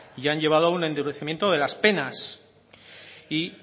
y han llevado a un endurecimiento de las penas y